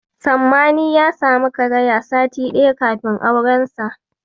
Sammani ya samu karaya sati ɗaya kafin aurensa.